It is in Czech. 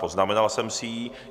Poznamenal jsem si ji.